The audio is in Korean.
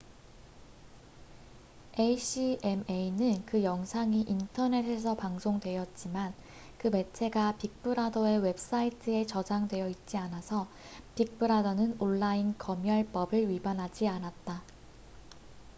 acma는 그 영상이 인터넷에서 방송되었지만 그 매체가 빅브라더의 웹사이트에 저장되어 있지 않아서 빅브라더는 온라인 검열법을 위반하지 않았다